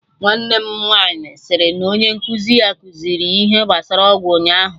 Nwanne m nwaanyị si na onye nkụzi ya kuziri ha ihe gbasara ọgwụ ụnyaahụ